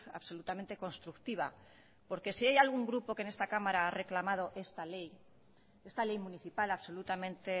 absolutamente constructiva porque si hay algún grupo que en esta cámara ha reclamado esta ley esta ley municipal absolutamente